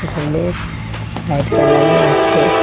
রুমে লাইট জ্বালানো আসে।